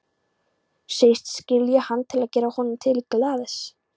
Segist skilja hann til að gera honum til geðs.